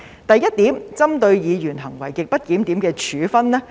第一點是針對議員行為極不檢點的處分。